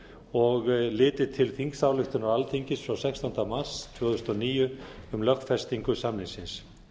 og litið til þingsályktunar alþingis frá sextánda mars tvö þúsund og níu um lögfestingu samningsins